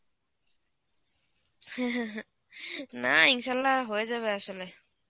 না Arbi হয়ে যাবে আসলে.